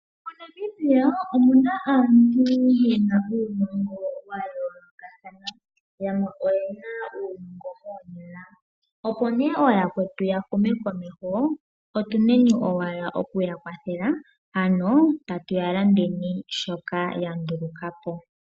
MoNamibia omuna aantu yena uunongo wa yooloka thana yamwe oyena uunongo moonyala. Opo nee yakwetu yahume komeho otuneni owala okuya kwathela ano tatu yalandeni shoka yandulukapo.